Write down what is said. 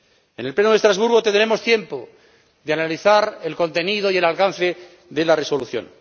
En el Pleno de Estrasburgo tendremos tiempo de analizar el contenido y el alcance de la Resolución.